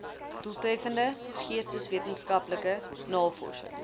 doeltreffende geesteswetenskaplike navorsing